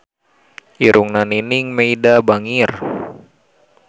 Irungna Nining Meida bangir